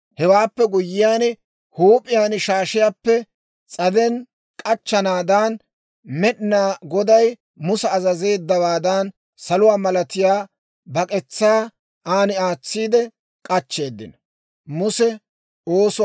Hewaappe guyyiyaan huup'iyaan shaashiyaappe s'aden k'achchanaadan, Med'inaa Goday Musa azazeeddawaadan saluwaa malatiyaa bak'etsaa an aatsiide k'achcheeddinno.